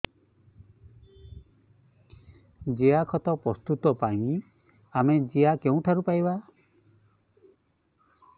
ଜିଆଖତ ପ୍ରସ୍ତୁତ ପାଇଁ ଆମେ ଜିଆ କେଉଁଠାରୁ ପାଈବା